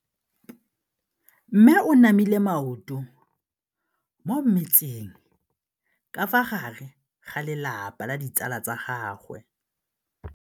Mme o namile maoto mo mmetseng ka fa gare ga lelapa le ditsala tsa gagwe.